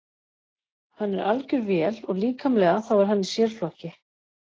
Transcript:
Hann er algjör vél og líkamlega þá er hann í sérflokki.